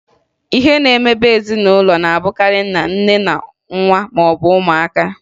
Ihe na-emebe ezinụlọ na-abụkarị nna, nne, na nwa maọbụ ụmụaka